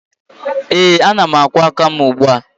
Ee, ana m akwọ aka m ugbua